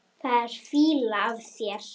Það er fýla af þér.